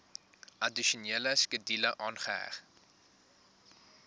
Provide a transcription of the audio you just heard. addisionele skedule aangeheg